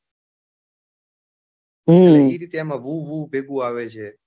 એવી રીતે એમાં હું હું ભેગું આવે છે.